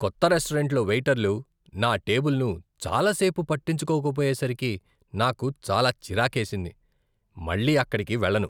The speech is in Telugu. కొత్త రెస్టారెంట్లో వెయిటర్లు నా టేబుల్ను చాలా సేపు పట్టించుకోకపోయేసరికి నాకు చాలా చిరాకేసింది. మళ్ళీ అక్కడకి వెళ్ళను.